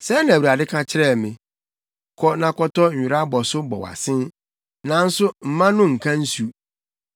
Sɛɛ na Awurade ka kyerɛɛ me: “Kɔ na kɔtɔ nwera abɔso bɔ wʼasen, nanso mma no nka nsu.”